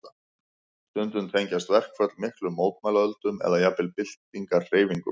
Stundum tengjast verkföll miklum mótmælaöldum eða jafnvel byltingarhreyfingum.